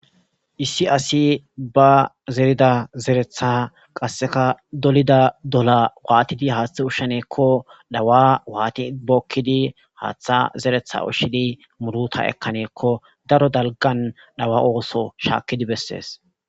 issi asi ba zerida zeretha qasseka dolida dola waatidi haaththe ushsheneekko dhawa waati bookkidi haaththa zeretha ushshidi muruta ekkaneekko daro dalgan dhawa ooso shaakkidi bessees